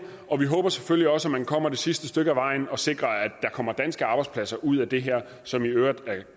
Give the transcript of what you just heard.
og vi håber selvfølgelig også at man kommer det sidste stykke ad vejen og sikrer at der kommer danske arbejdspladser ud af det her som i øvrigt er